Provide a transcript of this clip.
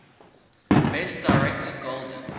best director golden